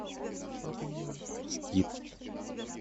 скит